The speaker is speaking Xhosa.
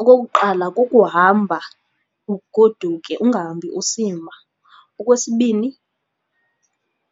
Okokuqala, kukuhamba ugoduke ungahambi usima. Okwesibini,